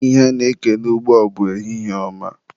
Ihe a na-ekele ugbua bụ ehihie ọma.